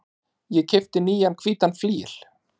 Ég keypti nýjan hvítan flygil.